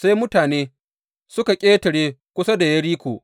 Sai mutane suka ƙetare kusa da Yeriko.